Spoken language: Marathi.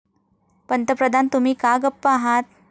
पंतप्रधान, तुम्ही का गप्प आहात?